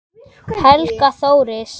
Helga Þóris.